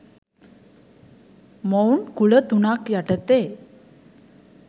මොවුන් කුල තුනක් යටතේ